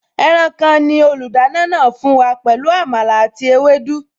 Ẹran kan ni olùdáná náà fún wa pẹ̀lú Àmàlà àti ewédú